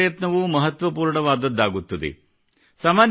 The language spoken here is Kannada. ಪ್ರತಿಯೊಂದು ಪ್ರಯತ್ನವೂ ಮಹತ್ವಪೂರ್ಣವಾದುದಾಗುತ್ತದೆ